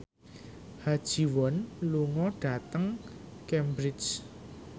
Ha Ji Won lunga dhateng Cambridge